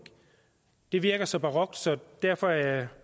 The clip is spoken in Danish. det virker så barokt og derfor er jeg